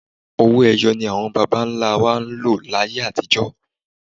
Owó ẹyọ ni àwọn bàbá ńlá wa ń lò láyé àtijọ́